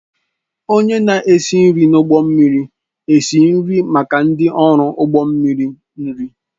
Onye na-esi nri n'ụgbọ mmiri esi nri maka ndị ọrụ ụgbọ mmiri nri.